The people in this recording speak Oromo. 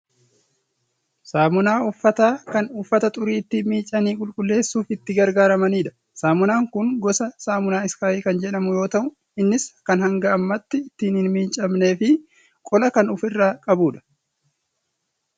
Saamunaa uffataa kan uffata xurii ittiin miiccanii qulqulleessuuf itti gargaaramanidha. Saamunaan kun gosa saamunaa iskaayi kan jedhamu yoo ta'u innis kan hanga ammaatti ittiin hin miiccamneefi qola kan of irraa qabudha.